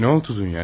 Nə oldu Dunya?